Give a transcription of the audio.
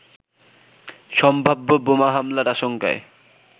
সম্ভাব্য বোমা হামলার আশংকায়